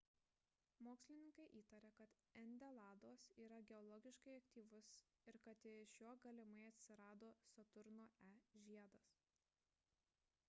mokslininkai įtaria kad endeladas yra geologiškai aktyvus ir kad iš jo galimai atsirado saturno e žiedas